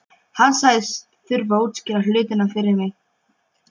Hann sagðist þurfa að útskýra hlutina fyrir mér.